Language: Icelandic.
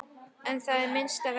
En það er minnsta verkið.